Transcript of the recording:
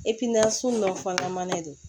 sugu nɔnna mana de